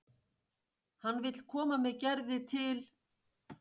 Hann vill koma með Gerði til